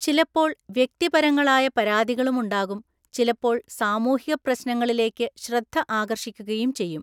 ചിലപ്പോള്‍ വ്യക്തിപരങ്ങളായ പരാതികളുമുണ്ടാകും, ചിലപ്പോള്‍ സാമൂഹിക പ്രശ്നങ്ങളിലേക്ക് ശ്രദ്ധ ആകര്‍ഷിക്കുകയും ചെയ്യും.